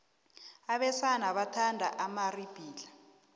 abesana bathanda amaribhidlhla